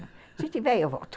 Se tiver, eu volto.